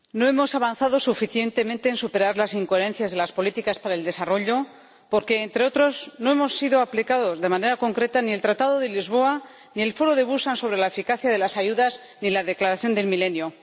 Señor Presidente, no hemos avanzado suficientemente en superar las incoherencias de las políticas para el desarrollo porque, entre otros, no han sido aplicados de manera concreta ni el Tratado de Lisboa, ni el Foro de Busan sobre la Eficacia de la Ayuda, ni la Declaración del Milenio.